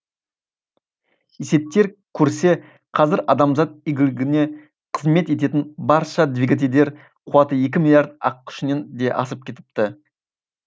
есептеп көрсе қазір адамзат игілігіне қызмет ететін барша двигательдер қуаты екі миллиард ат күшінен де асып кетіпті